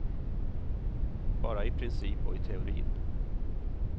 Bara i princip och i teorin.